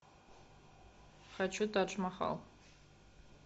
хочу тадж махал